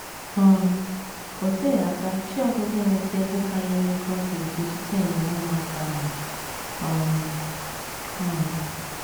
um O teghị aka Chiagozie enweta ego karịrị ego ọ ga - eji zụta ịnyịnya ụmụaka ahụ um. um